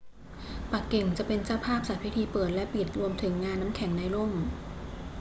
ปักกิ่งจะเป็นเจ้าภาพจัดพิธีเปิดและปิดรวมถึงงานน้ำแข็งในร่ม